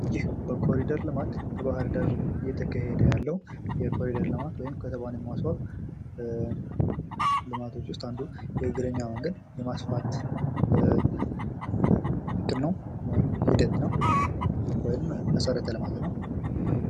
ይህ የኮሪድር ልማት ወይም በባህር ዳር እየተካሄደ ያለው ኮሪደር ልማት ከተማን የማስዋብ ልማቶች ዉስጥ አንዱ የእግረኛ መንገድ የማስፋት ሂደት ነው። ወይም መሠረተ-ልማት ነው።